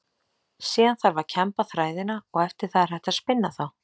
Síðan þarf að kemba þræðina og eftir það er hægt að spinna þá.